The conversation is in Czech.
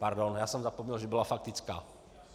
Pardon, já jsem zapomněl, že byla faktická.